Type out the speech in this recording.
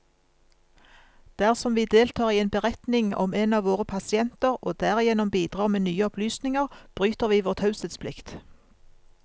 Dersom vi deltar i en beretning om en av våre pasienter, og derigjennom bidrar med nye opplysninger, bryter vi vår taushetsplikt.